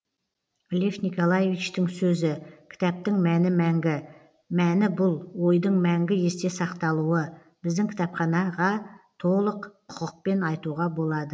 лев николаевичтің сөзі кітаптың мәні мәңгі мәні бұл ойдың мәңгі есте сақталуы біздің кітапханаға толық құқықпен айтуға болады